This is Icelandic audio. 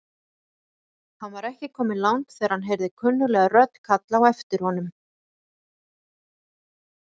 Hann var ekki kominn langt þegar hann heyrði kunnuglega rödd kalla á aftir honum.